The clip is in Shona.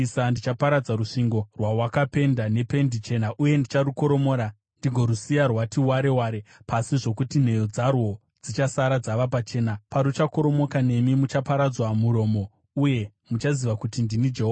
Ndichaparadza rusvingo rwawakapenda nependi chena uye ndicharukoromora ndigorusiya rwati ware ware pasi zvokuti nheyo dzarwo dzichasara dzava pachena. Paruchakoromoka, nemi muchaparadzwa murimo; uye muchaziva kuti ndini Jehovha.